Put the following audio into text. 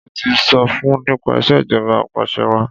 Ṣé o ti sọ fun nípa ìṣèjọba apàṣẹwàá?